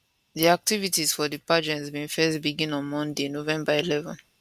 di activities for di pageant bin first begin on monday november 11